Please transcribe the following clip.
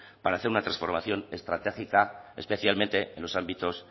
para hacer una transformación estratégica especialmente en los ámbitos